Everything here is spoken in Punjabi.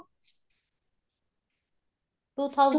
two thousand